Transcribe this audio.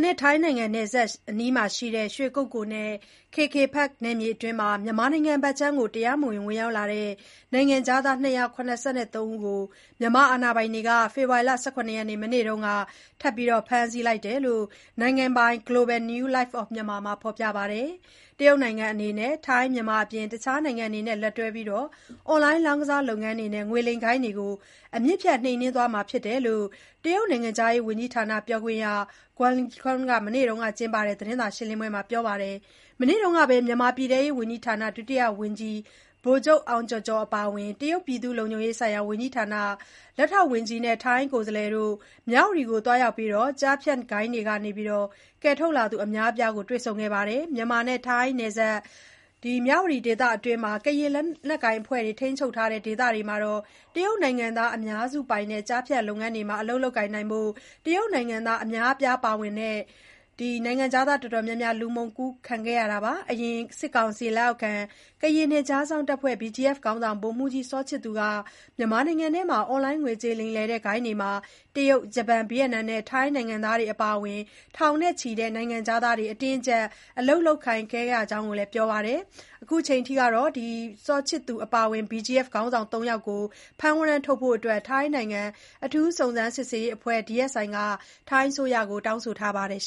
နဲ့ထိုင်းနယ်စပ်အနီး ရွှေကုက္ကိုနဲ့ KK Park နယ်မြေအတွင်း မြန်မာနိုင်ငံထဲ တရားမဝင် ဝင်ရောက်သူ နိုင်ငံခြားသား ၂၇၃ ဦးကို မြန်မာအာဏာပိုင်တွေက ဖေဖေါ်ဝါရီ ၁၇ ရက် မနေ့တုန်းက ထပ်မံ ဖမ်းဆီးလိုက်တယ်လို့ နိုင်ငံပိုင် Global New Light of Myanmar မှာ ဖေါ်ပြပါတယ်။ တရုတ်နိုင်ငံအနေနဲ့ ထိုင်း၊ မြန်မာအပြင် တခြားနိုင်ငံတွေနဲ့ အတူလက်တွဲပြီး အွန်လိုင်းလောင်းကစား လုပ်ငန်းတွေနဲ့ ငွေလိမ်ဂိုဏ်းတွေကို အမြစ်ဖြတ်နှိမ်နင်းသွားမှာဖြစ်ကြောင်း တရုတ်နိုင်ငံခြားရေး ဝန်ကြီးဌာနပြောခွင့်ရ Guo Jiakun က မနေ့ကကျင်းပတဲ့ သတင်းစာရှင်းလင်းပွဲအတွင်း ပြောပါတယ်။ မနေ့တုန်းကပဲ မြန်မာပြည်ထဲရေးဝန်ကြီးဌာန ဒုတိယဝန်ကြီး ဗိုလ်ချုပ် အောင်ကျော်ကျော်အပါအဝင် တရုတ်ပြည်သူ့လုံခြုံရေးဆိုင်ရာဝန်ကြီးဌာန လက်ထောက် ဝန်ကြီး Liu Zhong Yi နဲ့ ထိုင်းကိုယ်စားလှယ်တို့ မြဝတီမြို့ကို သွားရောက်ပြီး ကျားဖြန့်ဂိုဏ်းတွေကနေ ကယ်ထုတ်လာသူ အများအပြားကိုလည်း တွေ့ဆုံခဲ့တာပါ။ မြန်မာနဲ့ ထိုင်းနယ်စပ် မြဝတီဒေသအတွင်း ကရင် လက်နက်ကိုင်အဖွဲ့တွေ ထိန်းချုပ်တဲ့ဒေသမှာ တရုတ်နိုင်ငံသားအများစုပိုင် ကျားဖြန့်လုပ်ငန်းတွေမှာ အလုပ်လုပ်ကိုင်ဖို့ တရုတ်နိုင်ငံသား အများအပြား အပါအဝင် နိုင်ငံခြားသား တော်တော်များများ လူမှောင်ခိုကူးခံခဲ့ရတာပါ။ အရင် စစ်ကောင်စီလက်အောက်ခံ ကရင်နယ်ခြားစောင့်တပ်ဖွဲ့ BGF ခေါင်းဆောင် ဗိုလ်မှူးကြီး စောချစ်သူက မြန်မာနိုင်ငံအတွင်း အွန်လိုင်းငွေကြေးလိမ်လည်တဲ့ ဂိုဏ်းတွေမှာ တရုတ်၊ ဂျပန်၊ ဗီယက်နမ်နဲ့ ထိုင်းနိုင်ငံသားတွေအပါအဝင် ထောင်နဲ့ချီတဲ့ နိုင်ငံခြားသားတွေ အတင်းအကြပ် အလုပ်ခိုင်းခံနေရတဲ့ အကြောင်းလည်း မနေ့က သတင်းဌာနတွေကို ပြောပါတယ် ဒါပေမယ့်လည်း သူထိန်းချုပ်တဲ့ နယ်မြေအတွင်း ကျားဖြန့်လုပ်ငန်းတွေနဲ့ ဆက်နွယ်ပြီး ဗိုလ်မှူးကြီး စောချစ်သူအပါအဝင် BGF ခေါင်းဆောင် ၃ယောက်ကို ဖမ်းဝရမ်းထုတ်ဖို့ ထိုင်းနိုင်ငံ အထူးစုံစမ်း စစ်ဆေးရေးအဖွဲ့ DSI က ထိုင်းအစိုးရကိုတောင်းဆိုထားပါတယ်